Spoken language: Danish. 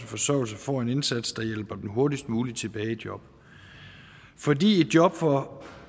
forsørgelse får en indsats der hjælper dem hurtigst muligt tilbage i job fordi et job for